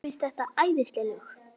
Mér finnst þetta æðisleg lög.